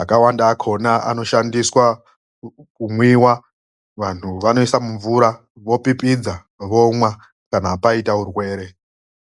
.Akawanda akhona anoiswe mumvura opipidzwa ozomwiwa kana paite denda rinorapwa ngemashakani akhona.